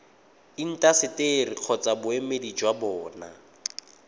intaseteri kgotsa boemedi jwa bona